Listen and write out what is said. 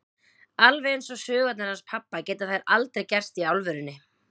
Alveg eins og sögurnar hans pabba geta þær aldrei gerst í alvörunni.